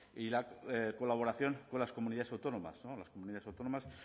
y la colaboración con las comunidades autónomas las comunidades autónomas